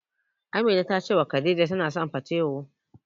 Amina ta cewa Khadija tana son patewo.